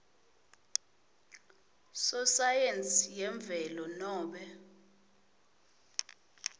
sosayensi yemvelo nobe